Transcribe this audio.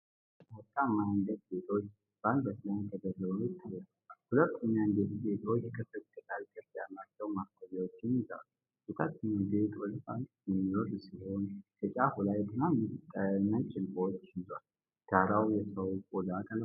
ሁለት ቀጫጭንና ወርቃማ የአንገት ጌጦች በአንገት ላይ ተደርበው ይታያሉ። ሁለቱም የአንገት ጌጦች ክፍት ቅጠል ቅርጽ ያላቸው ማሳያዎችን ይይዛሉ። የታችኛው ጌጥ ወደ ታች የሚወርድ ሲሆን፣ በጫፉ ላይ ትናንሽ ነጭ ዕንቁዎችን ይዟል። ዳራው የሰው ቆዳ ቀለም ነው።